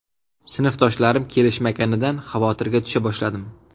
Sinfdoshlarim kelishmaganidan xavotirga tusha boshladim.